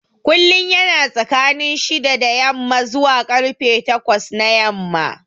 Kullum yana tsakanin shida da yamma zuwa karfe takwas na yamma